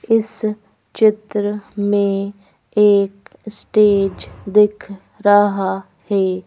इस चित्र में एक स्टेज दिख रहा है।